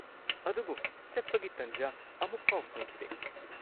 ꯑꯗꯨꯕꯨ ꯆꯠꯄꯒꯤ ꯇꯟꯖꯥ ꯑꯃꯨꯛꯐꯥꯎ ꯐꯪꯈꯤꯗꯦ꯫